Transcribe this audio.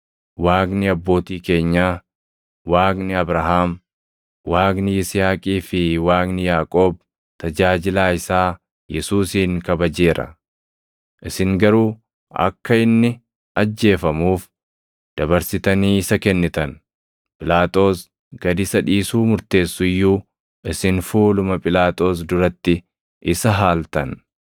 Waaqni abbootii keenyaa, Waaqni Abrahaam, Waaqni Yisihaaqii fi Waaqni Yaaqoob tajaajilaa isaa Yesuusin kabajeera. Isin garuu akka inni ajjeefamuuf dabarsitanii isa kennitan; Phiilaaxoos gad isa dhiisuu murteessu iyyuu isin fuuluma Phiilaaxoos duratti isa haaltan.